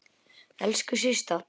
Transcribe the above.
Elsku Systa.